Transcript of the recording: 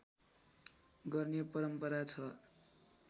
गर्ने परम्परा छ